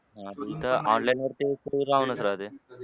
हां पण इथं online वर ते save राहूनच राहते.